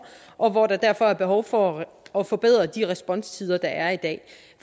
og hvor der derfor er behov for at forbedre de responstider der er i dag